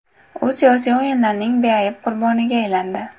U siyosiy o‘yinlarning beayb qurboniga aylandi.